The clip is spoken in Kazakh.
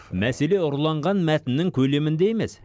мәселе ұрланған мәтіннің көлемінде емес